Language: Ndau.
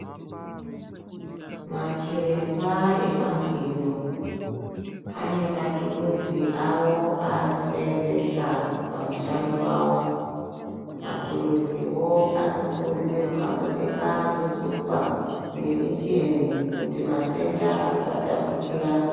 Machiremba emazino ane mathuruzi awo aanosenzesa pamushando wawo. Mathuruziwo anokurudzirwa kuti ngaazosukwa ngemichemwi kuti matenda asatapukira